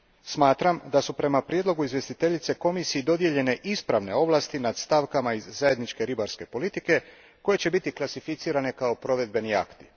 Smatram da su prema prijedlogu izvjestiteljice Komisiji dodijeljene ispravne ovlasti nad stavkama iz zajedničke ribarstvene politike, koje će biti klasificirane kao provedbeni akti.